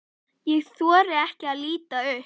Ég þori ekki að líta upp.